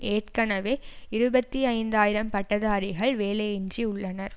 ஏற்கனவே இருபத்தி ஐந்து ஆயிரம் பட்டதாரிகள் வேலையின்றி உள்ளனர்